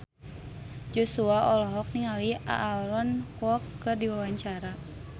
Joshua olohok ningali Aaron Kwok keur diwawancara